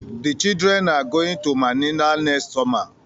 The children are going to Manila next summer